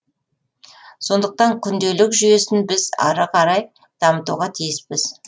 сондықтан күнделік жүйесін біз ары қарай дамытуға тиіспіз